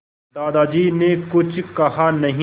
दादाजी ने कुछ कहा नहीं